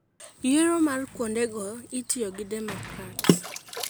Yiero mar kuondego itayo gi Democrats."